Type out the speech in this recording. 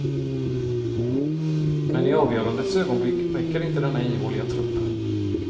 Men i avgörandets ögonblick räcker inte denna ihåliga trupp.